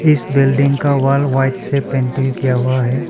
इस बिल्डिंग का wall white से पेंटिंग किया हुआ हैं।